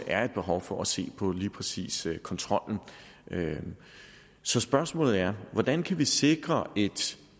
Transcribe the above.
er et behov for at se på lige præcis kontrollen så spørgsmålet er hvordan kan vi sikre et